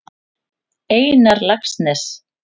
Einar Laxness.